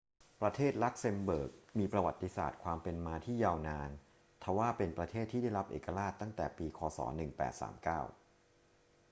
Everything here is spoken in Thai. ประเทศลักเซมเบิร์กมีประวัติศาสตร์ความเป็นมาที่ยาวนาน ทว่าเป็นประเทศที่ได้รับเอกราชตั้งแต่ปี ค. ศ. 1839